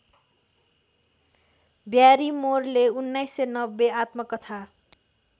ब्यारिमोरले १९९० आत्मकथा